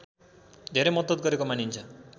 धेरै मद्दत गरेको मानिन्छ